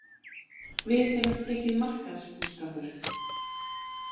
Við hefur tekið markaðsbúskapur.